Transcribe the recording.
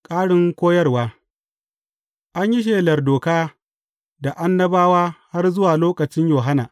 Ƙarin koyarwa An yi shelar Doka da Annabawa har zuwa lokacin Yohanna.